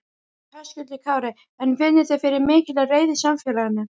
Höskuldur Kári: En finnið þið fyrir mikilli reiði í samfélaginu?